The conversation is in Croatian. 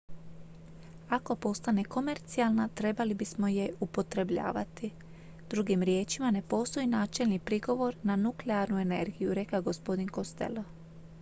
"""ako postane komercijalna trebali bismo je je upotrebljavati. drugim riječima ne postoji načelni prigovor na nuklearnu energiju" rekao je gospodin costello.